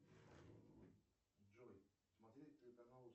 джой смотреть телеканал